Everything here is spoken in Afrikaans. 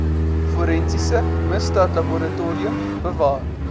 forensiese misdaadlaboratorium bewaar